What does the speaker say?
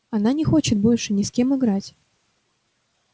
она не хочет больше ни с кем играть